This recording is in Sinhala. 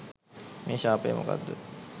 මේ ශාපය මොකක්ද